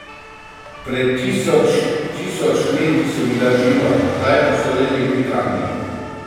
Pred tisoč tisoč leti so bila živa, zdaj pa so bila le lepi kamni.